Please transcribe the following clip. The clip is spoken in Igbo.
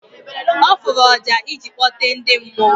Ọ fụrụ ọjà ịji kpọte ndị mmụọ.